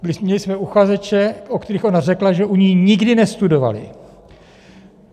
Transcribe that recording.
Měli jsme uchazeče, o kterých ona řekla, že u ní nikdy nestudovali.